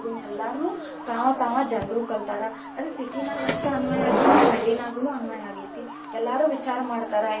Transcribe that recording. ಎಲ್ಲರ್ನು ತಾವ ತಾವ ಜನರು ಕಲತಾರ, ಅದ city ನಾಗ ಅಷ್ಟ ಅನ್ವಯ ಆಗಿಲ್ಲಾ ಹಳ್ಳಿನಾಗುನು ಅನ್ವಯ ಆಗೇತಿ ಎಲ್ಲರೂ ವಿಚಾರ ಮಾಡ್ತಾರ.